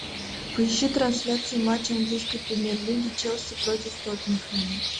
поищи трансляцию матча английской премьер лиги челси против тоттенхэма